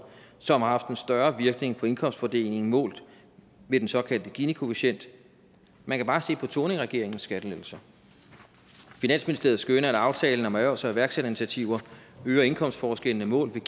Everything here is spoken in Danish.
som har haft en større virkning på indkomstfordelingen målt med den såkaldte ginikoefficient man kan bare se på thorningregeringens skattelettelser finansministeriet skønner at aftalen om erhvervs og iværksætterinitiativer øger indkomstforskellene målt med